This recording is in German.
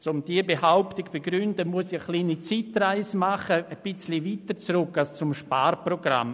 Um diese Behauptung zu begründen, muss ich eine kleine Zeitreise machen, etwas weiter zurück als das Sparprogramm.